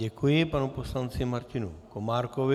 Děkuji panu poslanci Martinu Komárkovi.